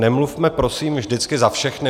Nemluvme prosím vždycky za všechny.